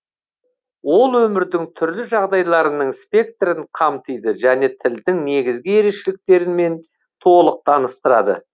ол өмірдің түрлі жағдайларының спектрін қамтиды және тілдің негізгі ерекшеліктерімен толық таныстырады